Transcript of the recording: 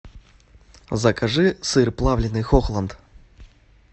закажи сыр плавленый хохланд